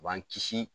U b'an kisi